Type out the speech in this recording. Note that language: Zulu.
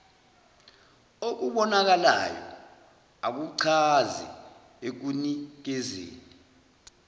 okubonakalayo akuchazi ekunikezeni